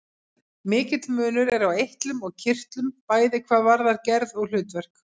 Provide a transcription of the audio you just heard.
Mikill munur er á eitlum og kirtlum, bæði hvað varðar gerð og hlutverk.